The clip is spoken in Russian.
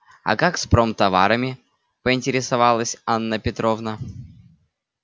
а как с промтоварами поинтересовалась анна петровна